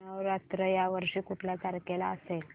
नवरात्र या वर्षी कुठल्या तारखेला असेल